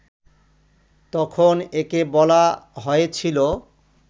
তখন একে বলা হয়েছিল